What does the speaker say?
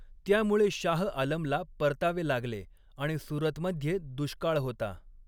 त्यामुळे शाह आलमला परतावे लागले आणि सुरतमध्ये दुष्काळ होता.